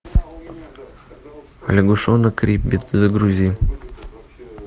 лягушонок риббит загрузи